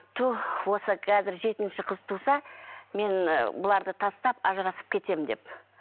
түһ осы қазір жетінші қыз туса мен ы бұларды тастап ажырасып кетемін деп